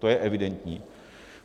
To je evidentní.